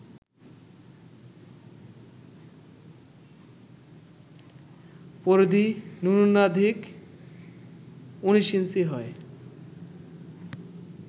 পরিধি ন্যূনাধিক ১৯ ইঞ্চি হয়